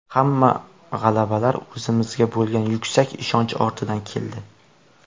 Hamma g‘alabalar o‘zimizga bo‘lgan yuksak ishonch ortidan keldi.